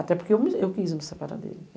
Até porque eu me eu quis me separar dele.